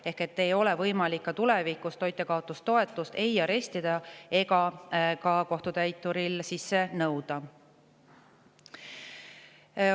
Ehk tulevikus ei ole toitjakaotustoetust võimalik arestida ega kohtutäituril sisse nõuda.